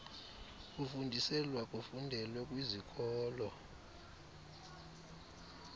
kufundiselwa kufundelwe kwizikolo